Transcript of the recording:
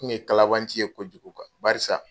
Oumou ye kalabanci ye ko kojugu baarisa.